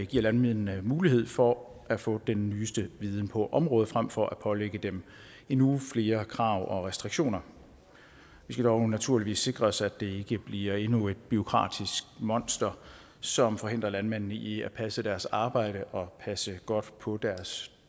giver landmændene mulighed for at få den nyeste viden på området frem for at pålægge dem endnu flere krav og restriktioner vi skal dog naturligvis sikre os at det ikke bliver endnu et bureaukratisk monster som forhindrer landmændene i at passe deres arbejde og passe godt på deres